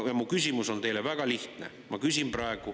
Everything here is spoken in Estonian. Mu küsimus teile on väga lihtne.